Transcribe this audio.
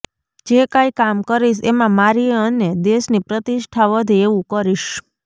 જે કાંઈ કામ કરીશ એમાં મારી અને દેશની પ્રતિષ્ઠા વધે એવું કરીશ